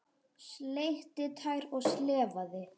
Sleikt tær og slefað.